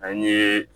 An ye